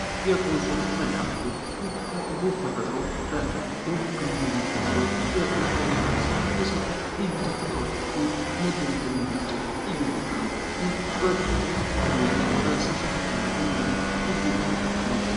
የኮንሶ መልከአምድር ይህ ዉብ ተፈጥሮ በደቡብ ክልል የሚገኝ ሲሆን የኮንሶ ማህበረሰብ የሰሩት ልዩ ተፈጥሮን ወይንም መደነቅን የሚያስችር ልዩ ቦታ ነው። ይህ በተፈጥሮ ወይም በሰውሰራሽ መንገድ የሚያምር ልዩ የሆነ ቦታ ነው።